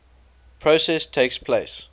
process takes place